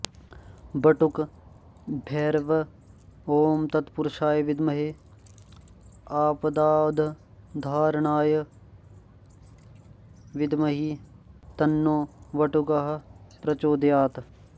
बटुकभैरव ॐ तत्पुरुषाय विद्महे आपदुद्धारणाय धीमहि तन्नो बटुकः प्रचोदयात्